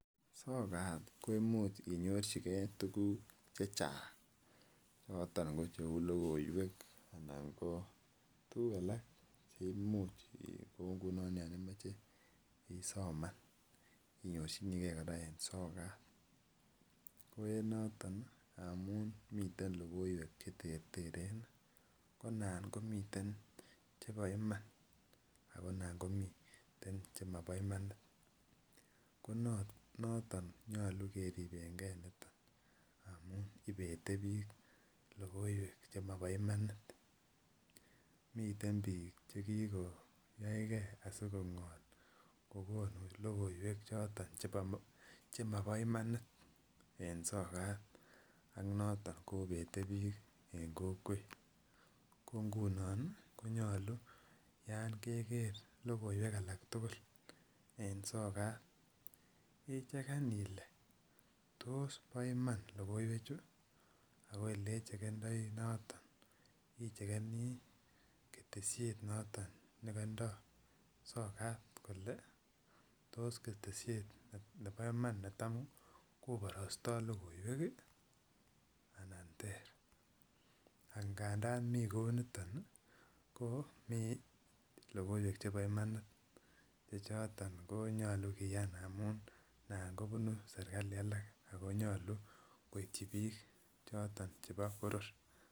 Sokat ko imuch inyorchigee tukuk chechang choto ko cheu lokoiwek anan ko tukuk alak cheimuch kou nguno yon imoche isoman inyorchiniigee koraa en sokat, ko en noton ngamun miten lokoiwek cheterteren nii ko nan komiten chebo Iman ak nan komiten chemobo imani ko noton nyolu keribengee niton amun ibete bik lokoiwek chemobo imanit. Miten bik chekikoyaigee asikongol kokonu lokoiwek choton chemobo imanit en sokat ak noto konete bik en kokwet ko nguno konyoluu yon Keker lokoiwek alak tukul en sokat icheken Ile tos bo Iman lokoiwek chuu ako eleichekendoi noton ichekenii keteshet noton nekindo sokat kole tos keteshet nebo Iman netam koborosto lokoiwek kii anan ter angandan mii kou niton ko mii lokoiwek chebo imanit che choton konyolu kiyan amun nan kobun sirkali alak ako nyolu koityi bik choton chebo boror.